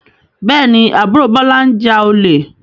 Bẹ́ẹ̀ ni, àbúrò Bọ́lá ń ja olè.